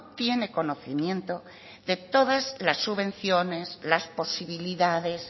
tiene conocimiento de todas las subvenciones las posibilidades